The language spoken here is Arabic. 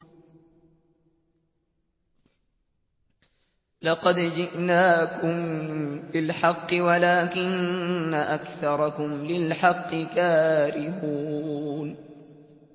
لَقَدْ جِئْنَاكُم بِالْحَقِّ وَلَٰكِنَّ أَكْثَرَكُمْ لِلْحَقِّ كَارِهُونَ